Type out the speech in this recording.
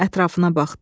Ətrafına baxdı.